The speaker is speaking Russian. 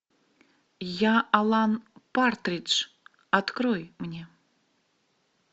я алан партридж открой мне